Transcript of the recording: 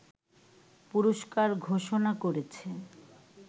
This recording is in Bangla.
পুরস্কার ঘোষণা করেছে